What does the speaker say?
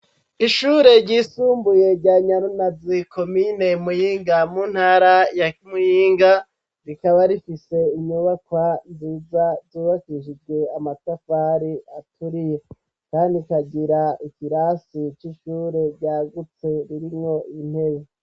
Ishure ryisumbuye rya Nyarunazi komine Muyinga mu ntara ya Muyinga rikaba rifise inyubakwa nziza zubakishijwe amatafari aturiye kandi ikagira ikirasi c'ishure ryagutse ririmwo intebe